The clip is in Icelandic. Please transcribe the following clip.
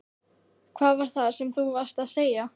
Hvað var það sem þú varst að segja?